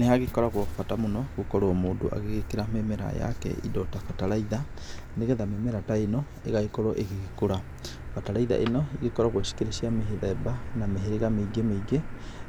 Nĩhagĩkoragwo bata mũno gũkorwo mũndũ agĩgĩkĩra mĩmera yake indo ta bataraitha, nĩ getha mĩmera ta ĩno ĩgagĩkorwwo ĩgĩgĩkũra. Bataraitha ĩno ĩgĩkoragwo cikĩrĩ cia mĩthemba na mĩhĩrĩga mĩingĩ mĩingĩ